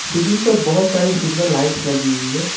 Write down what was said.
Ceiling पर बहोत सारी सुंदर लाइट्स लगी हुई है।